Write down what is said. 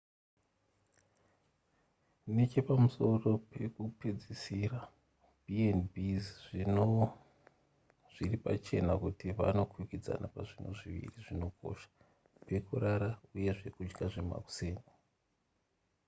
nechepamusoro pekupedzisira b&bs zviri pachena kuti vanokwikwidzana pazvinhu zviviri zvinokosha pekurara uye zvekudya zvemakuseni